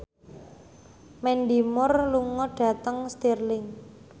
Mandy Moore lunga dhateng Stirling